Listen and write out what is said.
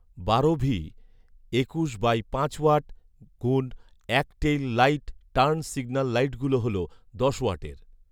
বারো ভি, একুশ বাই পাঁচ ওয়াট গুণ এক টেইল লাইট টার্ন সিগনাল লাইটগুলা হলো দশ ওয়াটের